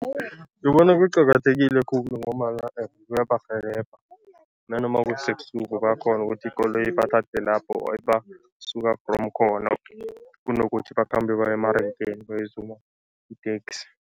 Ngibona kuqakathekile khulu ngombana kuyabarhelebha nanoma kusebusuku bayakghona ukuthi ikoloyi ibathathe lapho, or suka from khona, kunokuthi bakhambe baye emarenkeni bayozuma iteksi.